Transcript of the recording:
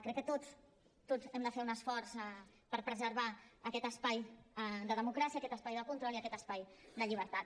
crec que tots tots hem de fer un esforç per preservar aquest espai de democràcia aquest espai de control i aquest espai de llibertat